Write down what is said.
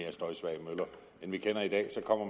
dem vi kender i dag så kommer